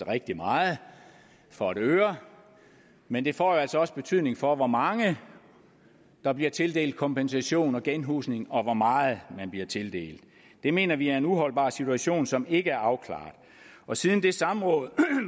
rigtig meget for et øre men det får altså også betydning for hvor mange der bliver tildelt kompensation og genhusning og hvor meget man bliver tildelt det mener vi er en uholdbar situation som ikke er afklaret siden det samråd